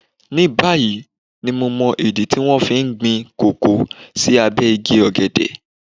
Ní báyìí ni mo mọ ìdí tí wón fi ń ṣe gbin kókò sí abé igi ọ̀gẹ̀dẹ̀.